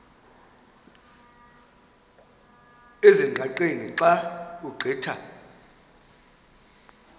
ezingqaqeni xa ugqitha